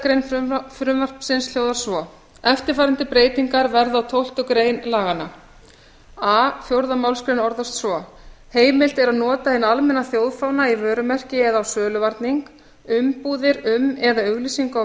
grein frumvarpsins hljóðar svo eftirfarandi breytingar verða á tólftu grein laganna a fjórðu málsgrein orðast svo heimilt er að nota hinn almenna þjóðfána í vörumerki eða á söluvarning umbúðir um eða auglýsingu á